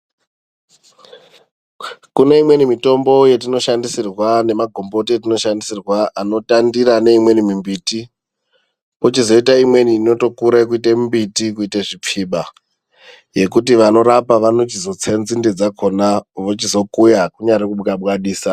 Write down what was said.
Kume imweni mitombo yetinoshandisirwa nemagomboti etinoshandisirwa anotandira neimweni mimbiti kochizoita imweni inotokura kuite mimbiti kuite zvipfiba yekuti vanorapa vanochizotse nzinde dzakona vochizokuya kunyari kubwabwadisa.